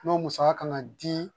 N'o musaka kan ka di